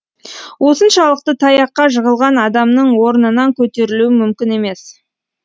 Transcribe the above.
осыншалықты таяққа жығылған адамның орнынан көтерілуі мүмкін емес